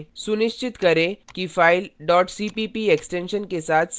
सुनिश्चित करें कि फाइल cpp एक्सटेंशन के साथ सेव हो गई है